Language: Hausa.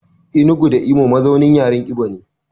Enugu da Imo mazaunin yaren Ibo ne.